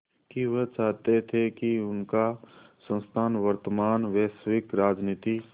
कि वह चाहते थे कि उनका संस्थान वर्तमान वैश्विक राजनीति